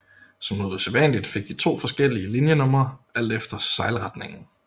Som noget usædvanligt fik de to forskellige linjenumre alt efter sejlretningen